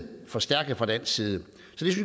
forstærket fra dansk side